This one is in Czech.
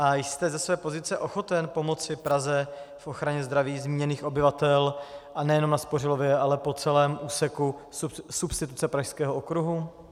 A jste ze své pozice ochoten pomoci Praze v ochraně zdraví zmíněných obyvatel, a nejenom na Spořilově, ale po celém úseku substituce Pražského okruhu?